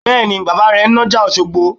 Bẹ́ẹ̀ni, bàbà rẹ ń nájà Òṣogbo